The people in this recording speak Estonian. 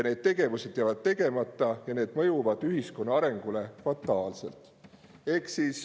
Need tegevused jäävad tegemata ja see mõjub ühiskonna arengule fataalselt.